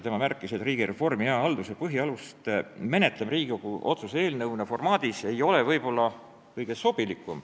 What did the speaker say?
Tema märkis, et riigireformi ja hea halduse põhialuste menetlemine Riigikogu otsuse eelnõu formaadis ei ole võib-olla kõige sobilikum.